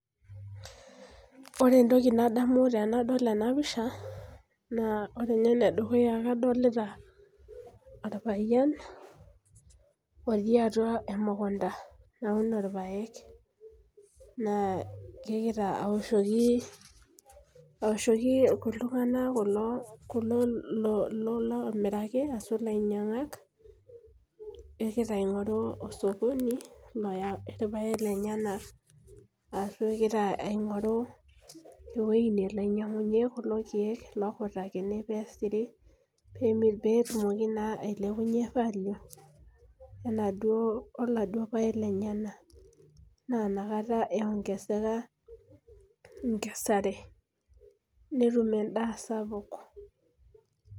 Ore entoki nadamu tenadol ena pisha. ore ninye ene dukuya kadolita orpayian otii atua emukunta nauno irpaek. naa kegira aishooki iltunganak. kulo oomiraki, ashu ilainyangak. kegira aing'oru osokoni oya irpaek lenyenak. ashu egira aing'oru ewueji nelo ainyiangunye kuloe keek. lookitakini. pee etumoki naa ainyiangunye. inaduoo oladuoo paek lenyenal. naa Ina kata iongeseka, enkesare.net edaa sapuk.